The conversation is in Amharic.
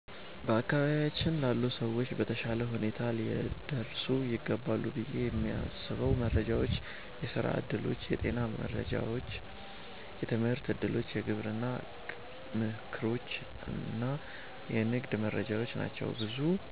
በአካባቢያችን ላሉ ሰዎች በተሻለ ሁኔታ ሊደርሱ ይገባሉ ብዬ የማስበው መረጃዎች የሥራ ዕድሎች፣ የጤና መረጃዎች፣ የትምህርት እድሎች፣ የግብርና ምክሮች እና የንግድ መረጃዎች ናቸው። ብዙ